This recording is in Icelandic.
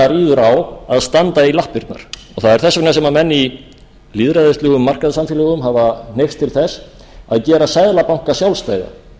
ríður á að standa í lappirnar og það er þess vegna sem menn í lýðræðislegum markaðssamfélögum hafa hneigst til þess að gera seðlabanka sjálfstæða